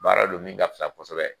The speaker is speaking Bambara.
Baara don min ka fisa kosɛbɛ.